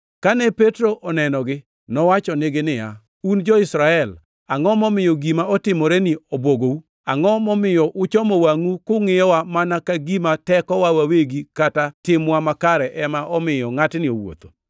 Kane Petro onenogi, nowachonegi niya, “Un jo-Israel, angʼo momiyo gima otimoreni obwogou? Angʼo momiyo uchomo wangʼu kungʼiyowa mana ka gima tekowa wawegi kata timwa makare ema omiyo ngʼatni owuotho?